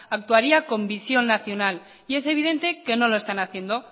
actuaría con visión nacional y es evidente que no lo están haciendo